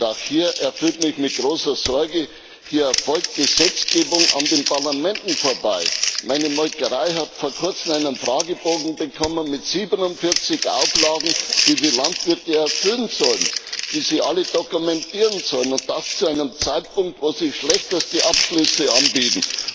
Auch hier erfüllt mich mit großer Sorge hier erfolgt Gesetzgebung an den Parlamenten vorbei Meine Molkerei hat vor kurzem einen Fragebogen bekommen mit 47 Auflagen, die die Landwirte erfüllen sollen, die sie alle dokumentieren sollen, und das zu einem Zeitpunkt, wo sie schlechteste Abschlüsse anbieten.